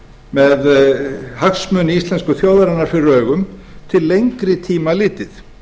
með hagsmuni íslensku þjóðarinnar fyrir augum til lengri tíma litið